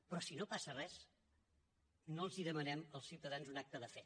però si no passa res no els demanem als ciutadans un acte de fe